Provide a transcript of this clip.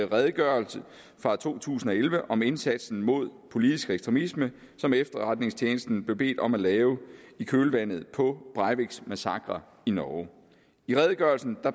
redegørelse fra to tusind og elleve om indsatsen mod politisk ekstremisme som efterretningstjenesten blev bedt om at lave i kølvandet på breiviks massakre i norge i redegørelsen